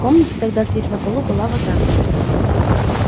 помните тогда здесь на полу была вода